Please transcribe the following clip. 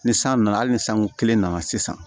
Ni san nana hali ni sanko kelen nana sisan